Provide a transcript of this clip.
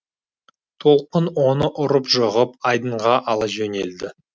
толқын оны ұрып жығып айдынға ала жөнелді